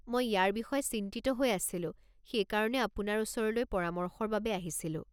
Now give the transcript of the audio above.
মই ইয়াৰ বিষয়ে চিন্তিত হৈ আছিলোঁ, সেইকাৰণে আপোনাৰ ওচৰলৈ পৰামৰ্শৰ বাবে আহিছিলোঁ।